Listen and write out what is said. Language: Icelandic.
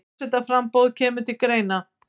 Forsetaframboð kemur til greina